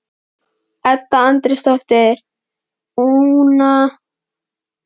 Edda Andrésdóttir: Una, hefurðu ekki fundið þér eitthvað að lesa?